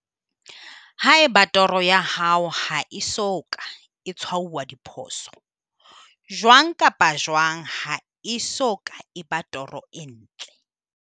Haeba toro ya hao ha e so ka e tshwauwa diphoso, jwang kapa jwang ha e so ka e eba toro e ntle.